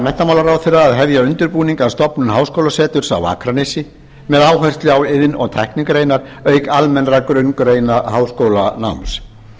menntamálaráðherra að hefja undirbúning að stofnun háskólaseturs á akranesi með áherslu á iðn og tæknigreinar auk almennra grunngreina háskólanáms